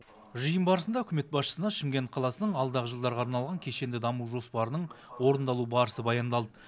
жиын барысында үкімет басшысына шымкент қаласының алдағы жылдарға арналған кешенді даму жоспарының орындалу барысы баяндалды